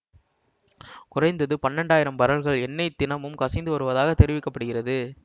குறைந்தது பன்னிரெண்டு ஆயிரம் பரல்கள் எண்ணெய் தினமும் கசிந்து வருவதாக தெரிவிக்க படுகிறது